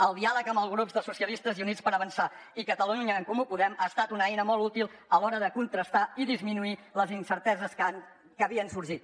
el diàleg amb els grups de socialistes i units per avançar i catalunya en comú podem ha estat una eina molt útil a l’hora de contrastar i disminuir les incerteses que havien sorgit